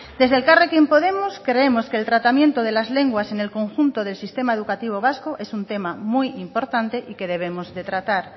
desde elkarrekin podemos creemos que el tratamiento de las lenguas en el conjunto del sistema educativo vasco es un tema muy importante y que debemos de tratar